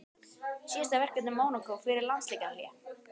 Síðasta verkefni Mónakó fyrir landsleikjahlé?